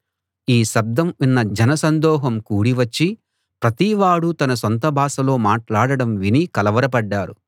ఈ శబ్దం విన్న జన సందోహం కూడి వచ్చి ప్రతి వాడూ తన సొంత భాషలో మాట్లాడడం విని కలవరపడ్డారు